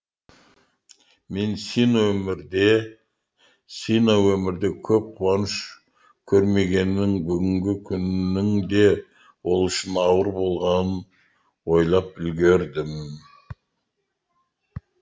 мен сино өмірде көп қуаныш көрмегенін бүгінгі күннің де ол үшін ауыр болғанын ойлап үлгердім